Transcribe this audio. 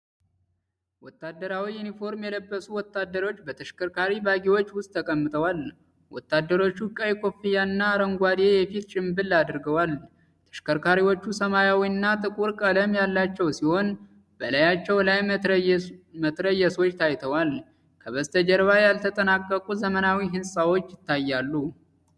ወታደራዊ ዩኒፎርም የለበሱ ወታደሮች በተሽከርካሪ ባጊዎች ውስጥ ተቀምጠዋል። ወታደሮቹ ቀይ ኮፍያና አረንጓዴ የፊት ጭንብል አድርገዋል። ተሽከርካሪዎቹ ሰማያዊና ጥቁር ቀለም ያላቸው ሲሆን፣ በላያቸው ላይ መትረየሶች ታይተዋል። ከበስተጀርባ ያልተጠናቀቁ ዘመናዊ ሕንጻዎች ይታያሉ።